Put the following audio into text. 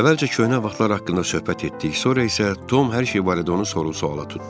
Əvvəlcə köhnə vaxtlar haqqında söhbət etdik, sonra isə Tom hər şey barədə onu sorğu-suala tutdu.